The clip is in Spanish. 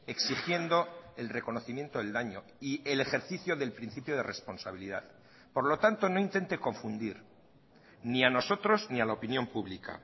exigiendo el reconocimiento del daño y el ejercicio del principio de responsabilidad por lo tanto no intente confundir ni a nosotros ni a la opinión pública